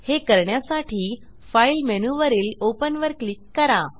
हे करण्यासाठी फाइल मेनूवरील ओपन वर क्लिक करा